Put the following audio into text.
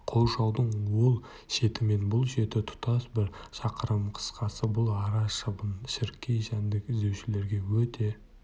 қоршаудың ол шеті мен бұл шеті тұтас бір шақырым қысқасы бұл ара шыбын-шіркей жәндік іздеушілерге өте